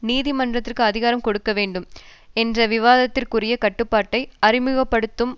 நீதிமன்றத்திற்கு அதிகாரம் கொடுக்கவேண்டும் என்ற விவாதத்திற்குரிய கட்டுப்பாட்டை அறிமுக படுத்தும்